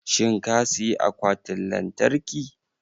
shin ka siyi Akwatin Lantarki?